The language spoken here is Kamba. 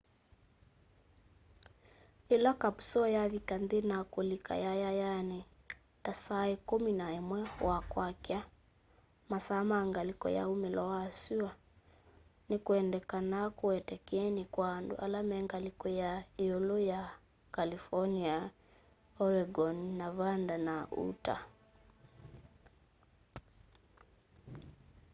ĩla kapusoo yavika nthĩ na kulika yayayanĩ ta saa kumi na ĩmwe wa kwakya masaa ma ngalĩko ya umĩlo wa syũa nĩ kwendekanaa kũete kyeni kwa andũ ala me ngalĩko ya ĩũlũ ya california oregon nevada na utah